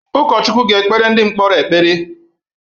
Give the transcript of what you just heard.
Ụkọchukwu ga-ekpere ndị mkpọrọ ekpere.